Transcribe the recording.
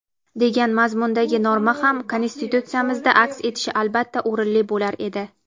degan mazmundagi norma ham Konstitutsiyamizda aks etishi albatta o‘rinli bo‘lar edi.